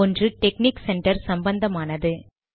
ஒன்று technique centre சம்பந்தமானது